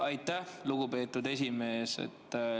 Aitäh, lugupeetud esimees!